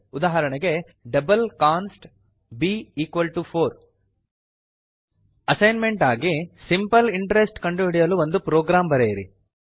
ಉದಾಹರಣೆಗೆ double const b4 assignment ಆಗಿ simple interest ಕಂಡುಹಿಡಿಯಲು ಒಂದು ಪ್ರೊಗ್ರಾಮ್ ಬರೆಯಿರಿ